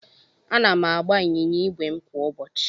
Ana m agba ịnyịnya ígwè m kwa ụbọchị.